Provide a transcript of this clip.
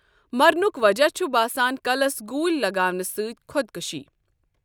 مرنُک وجہ چُھِ باسان کَلَس گوٗلۍ لگاونہ سۭتۍخۄد کُشی ۔